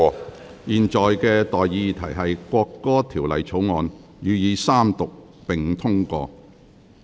我現在向各位提出的待議議題是：《國歌條例草案》予以三讀並通過。